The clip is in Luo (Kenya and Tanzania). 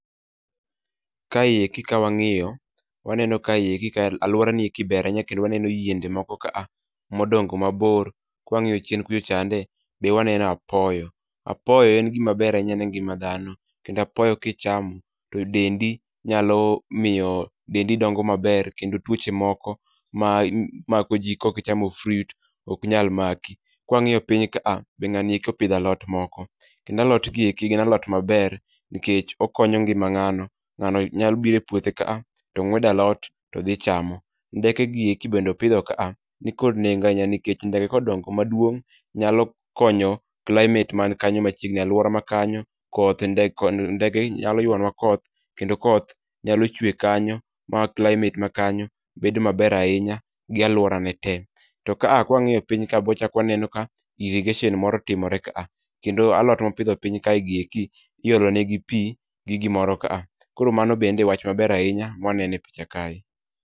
Kae eki ka wang'iyo, waneno kae eki ka alwora nieki ber ahinya kendo waneno yiende moko ka a modongo mabor. Kwang'iyo chien kucho chande, be waneno apoyo. Apoyo en gima ber ahinya ne ngima dhano, kendo apoyo kichamo to dendi nyalo miyo dendi dongo maber kendo tuoche moko ma mako ji kokichamo fruit ok nyal maki. Kwang'iyo piny kaa , be ng'ani eki opidho alot moko. Kendo alot gieki gin alot maber nikech okonyo ngima ng'ano. Ng'ano nyalo bire puothe kaa, to ng'wedo alot todhi chamo. Ndeke gieki bende opidho ka a, nikod nengo ahinya nikech ndege kodongo maduong', nyalo konyo climate man kanyo machiegni alwora ma kanyo. Koth nde kod ndege nyalo ywanwa koth, kendo koth nyalo chwe kanyo ma climate ma kanyo bedo maber ahinya gi alwora ne te. To ka a kwang'iyo piny ka bwachak waneno ka irrigation moro timore kaa. Kendo alot mopidho piny kae gieki, iolone gi pi gi mimoro kaa. Koro mano bende e wach maber ahinya mwanene picha kae.